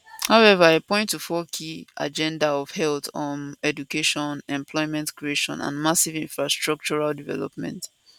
however e point to four key agenda of health um education employment creation and massive infrastructural development